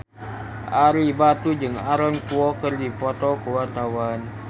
Ario Batu jeung Aaron Kwok keur dipoto ku wartawan